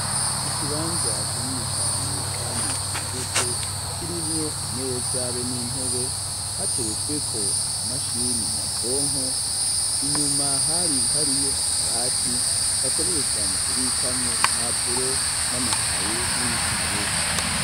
Ikibanza kirindi cane kandi cagutse kirimwo imeza be n'intebe hateretsweko ama mashini nyabwonko. Inyuma hari hariyo akabati bakoresha mu kubikamwo impapuro n'amakaye n'ibitabo.